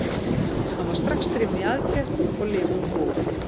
Hann var strax drifinn í aðgerð og lifir nú góðu lífi.